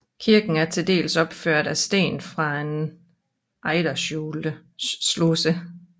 Kirken er til dels opført af sten fra en ejdersluse